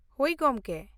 ᱦᱳᱭ, ᱜᱚᱝᱠᱮ᱾